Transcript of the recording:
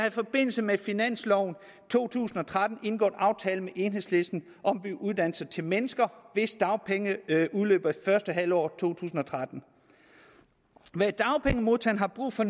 i forbindelse med finansloven to tusind og tretten en aftale med enhedslisten om at give uddannelse til mennesker hvis dagpenge udløber i første halvår af to tusind og tretten dagpengemodtagerne har brug for